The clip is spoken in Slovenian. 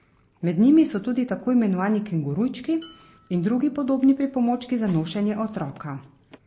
Med njimi so tudi tako imenovani kengurujčki in drugi podobni pripomočki za nošenje otroka.